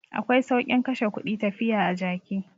Akwai saukin kashe kudi tafiya a jaki.